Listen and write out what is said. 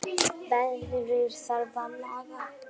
Veðrið þarf að laga.